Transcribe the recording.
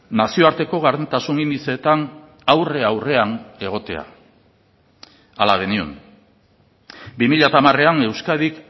nazioarteko gardentasun indizeetan aurre aurrean egotea hala genion bi mila hamarean euskadik